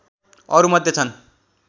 अरू मध्ये छन्